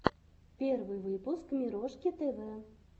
первый выпуск мирошки тв